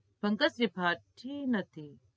પંકજ ત્રિપાઠી નથી